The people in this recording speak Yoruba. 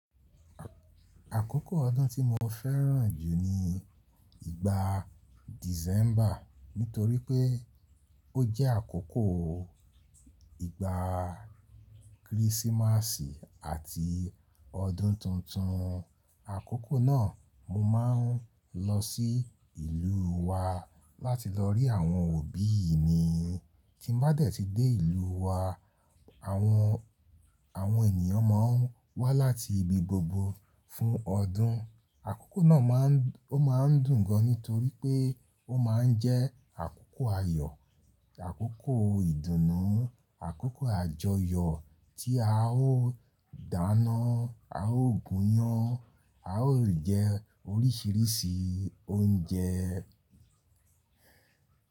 Àkókò ọdún tí mo fẹ́ràn jù ni ìgbà December nítorí pé ó jẹ́ àkókò ìgbà christmasi àti ọdún tuntun. Àkókò náà mo máa ń lọ sí ìlú wa láti lọ rí àwọn òbí mi. Tí n bá dé ti dé ìlú wa, àwọn, àwọn ènìyàn máa ń wá láti ibi gbogbo fún ọdún. Àkókò náà ma ń, ó máa ń dùn gan nítorí pé ó máa ń jẹ́ àkókò ayọ̀, àkókò ìdùnnú, àkókò àjọyọ̀ tí a ó dáná, a ó gúnyán, a ó jẹ oríṣiríṣi oúnjẹ.